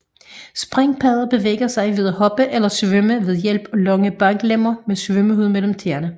Springpadder bevæger sig ved at hoppe eller svømme ved hjælp af lange baglemmer med svømmehud mellem tæerne